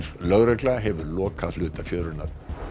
lögregla hefur lokað hluta fjörunnar